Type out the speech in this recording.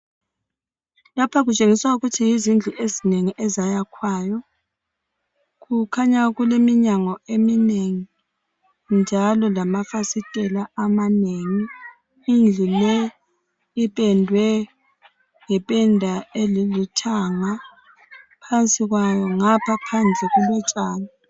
Lapha kutshengisa ukuthi yizindlu ezinengeni ezayakhiwayo kukhanya kuleminyango eminengi njalo lamafasitela amanengi. Indlu le ipendwe ngependa elithanga phansi kwayo ngapha phandle kulotshani.